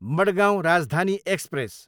Madgaon Rajdhani express